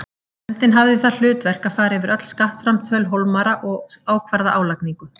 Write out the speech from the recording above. Nefndin hafði það hlutverk að fara yfir öll skattframtöl Hólmara og ákvarða álagningu.